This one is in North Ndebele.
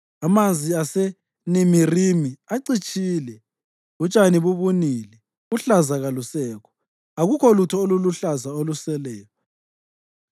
Amanzi aseNimirimi acitshile, utshani bubunile, uhlaza kalusekho, akukho lutho oluluhlaza oluseleyo.